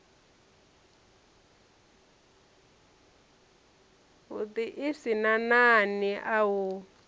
sin a nani a u